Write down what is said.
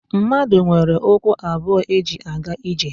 Mmadụ nwere ụkwụ abụọ eji aga ije